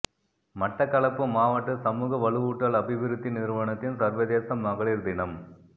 மட்டக்களப்பு மாவட்ட சமூக வலுவூட்டல் அபிவிருத்தி நிறுவனத்தின் சர்வதேச மகளிர் தினம்